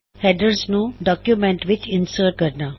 headers ਨੂੰ document ਵਿੱਚ insert ਕਰਨਾ